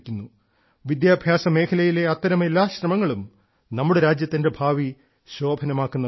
വിദ്യാഭ്യാസമേഖലയിലെ അത്തരം എല്ലാ ശ്രമങ്ങളും നമ്മുടെ രാജ്യത്തിന്റെ ഭാവി ശോഭനമാക്കുന്നവയാണ്